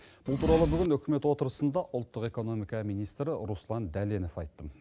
бұл туралы бүгін үкімет отырысында ұлттық экономика министрі руслан дәленов айтты